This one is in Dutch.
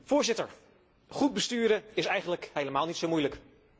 Voorzitter, goed besturen is eigenlijk helemaal niet zo moeilijk.